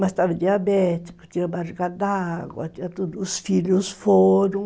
Mas estava diabético, tinha barriga d'água, tinha tudo, os filhos foram.